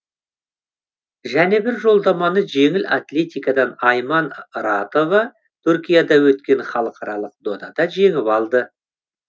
және бір жоламаны жеңіл атлетикадан айман ратова түркияда өткен халықаралық додада жеңіп алды